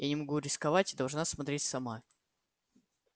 я не могу рисковать и должна смотреть сама